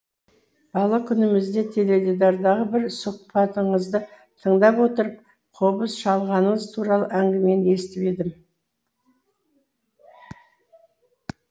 бала күнімізде теледидардағы бір сұхбатыңызды тыңдап отырып қобыз шалғаныңыз туралы әңгімені естіп едім